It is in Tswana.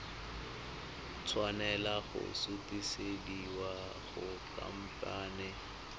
tshwanela go sutisediwa go khamphane